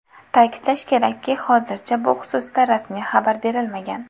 Ta’kidlash kerakki, hozircha bu xususda rasmiy xabar berilmagan.